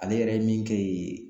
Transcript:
Ale yɛrɛ ye min kɛ yen